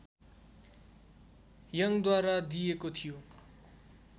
यङद्वारा दिइएको थियो